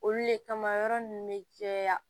Olu le kama yɔrɔ ninnu bɛ caya